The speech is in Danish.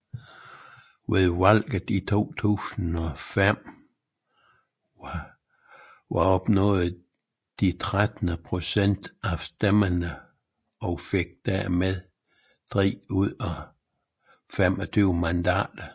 Ved valget i 2005 opnåede de 13 procent af stemmerne og fik dermed 3 ud af 25 mandater